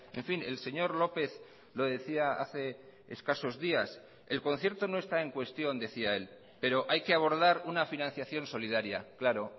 en fin el señor lópez lo decía hace escasos días el concierto no está en cuestión decía él pero hay que abordar una financiación solidaria claro